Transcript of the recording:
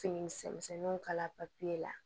Fini misɛnninw kala papiye la